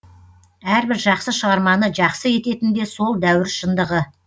әрбір жақсы шығарманы жақсы ететін де сол дәуір шындығы